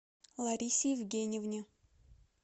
ларисе евгеньевне